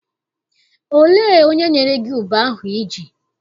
Olee onye nyere gị ube ahụ I ji?